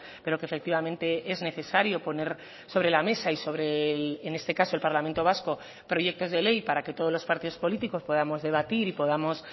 pero que efectivamente es necesario poner sobre la mesa y sobre en este caso el parlamento vasco proyectos de ley para que todos los partidos políticos podamos debatir y podamos